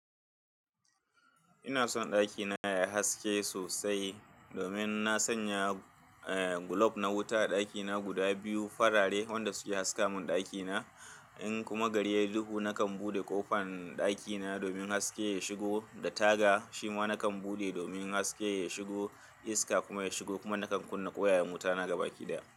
Ina son ɗakina yayi haske sosai domin na sanya, eh, glob na wuta a ɗakina guda biyu farare wanda su ke haska mun ɗakina. In kuma gari yai duhu nakan buɗe ƙofan ɗakina domin haske ya shigo da taga shima nakan buɗe domin haske ya shigo iska kuma ta shigo kuma nakan kunna ƙwaya yan wuta na gaba ki daya.